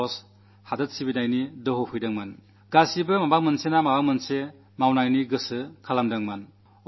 എല്ലാവരും എന്തെങ്കിലുമൊക്കെ നടക്കണമെന്നാഗ്രഹിച്ചു എന്തെങ്കിലുമൊക്കെ ചെയ്യണമെന്നു ചിന്തിച്ചു